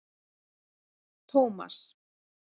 Tómas